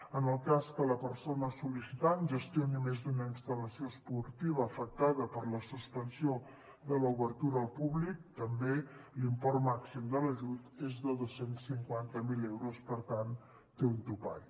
en el cas que la persona sol·licitant gestioni més d’una instal·lació esportiva afectada per la suspensió de l’obertura al públic també l’import màxim de l’ajut és de dos cents i cinquanta miler euros per tant té un topall